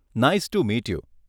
Nice to meet you.